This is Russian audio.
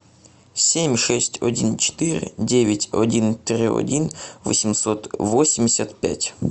семь шесть один четыре девять один три один восемьсот восемьдесят пять